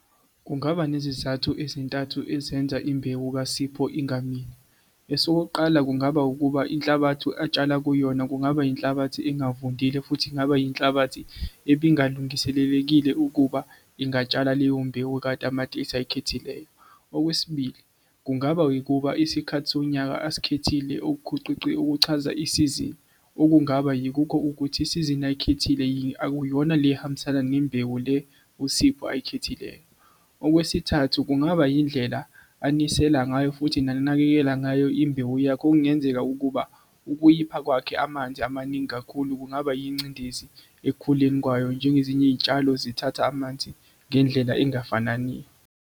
Kungaba nezizathu ezintathu ezenza imbewu kaSipho ingamili. Esokuqala kungaba ukuba inhlabathi atshala kuyona kungaba inhlabathi engavundile futhi kungaba inhlabathi ebingalungiselekile ukuba ingatshala leyo mbewu kamatekisi oyikhethileyo. Okwesibili kungaba ukuba isikhathi sonyaka asikhethile okuchaza isizini okungaba yikho ukuthi isizini ayikhethile yini akuyona le ehambisana nembewu le uSipho oyikhethileyo. Okwesithathu kungaba indlela anisela ngayo futhi nanakekela ngayo imbewu yakhe okungenzeka ukuba ukuyipha kwakhe amanzi amaningi kakhulu kungaba ingcindezi ekukhuleni kwayo njengezinye izitshalo zithatha amanzi ngendlela engafanani.